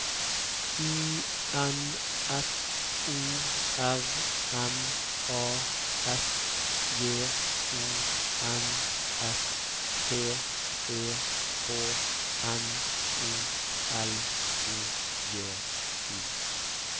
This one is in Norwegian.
I N F O R M A S J O N S T E K N O L O G I